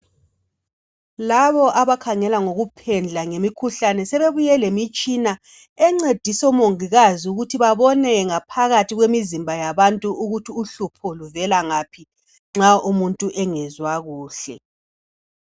Labo abakhangela ngokuphendla ngemikhuhlane sebebuye lemitshina encedisa omongikazi ukuthi babone ngaphakathi kwemizimba yabantu ukuthi uhlupho luvela ngaphi nxa umuntu engezwa kuhle.